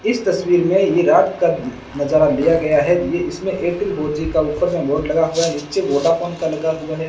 इस तस्वीर में ये रात का नजारा दिया गया है ये इसमें एयरटेल फोर जी का ऊपर में बोर्ड लगा हुआ नीचे वोडाफोन का लगा हुआ है।